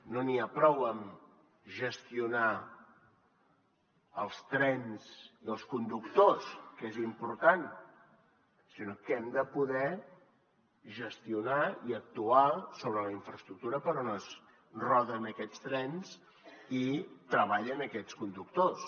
no n’hi ha prou amb gestionar els trens i els conductors que és important sinó que hem de poder gestionar i actuar sobre la infraestructura per on roden aquests trens i treballen aquests conductors